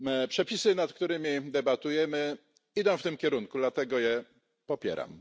Przepisy, nad którymi debatujemy, idą w tym kierunku, dlatego je popieram.